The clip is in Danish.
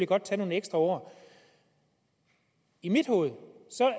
godt tage nogle ekstra år i mit hoved